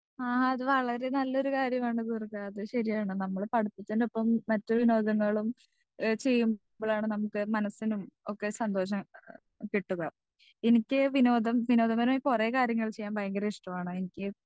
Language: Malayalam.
സ്പീക്കർ 2 ആ അത് വളരെ നല്ലൊരു കാര്യമാണ് ദുർഗാ അത് ശരിയാണ് നമ്മൾ പഠിപ്പിക്കുന്ന ഇപ്പം മറ്റ് വിനോദങ്ങളും ഏഹ് ചെയ്യു കയാണ് നമ്മക്ക് മനസിനും ഒക്കെ സന്തോഷം കിട്ടുക എനിക്ക് വിനോദം വിനോദപരമായ കൊറേ കാര്യങ്ങൾ ചെയ്യാൻ ഭയങ്കര ഇഷ്ട്ടമാണ് എനിക്ക്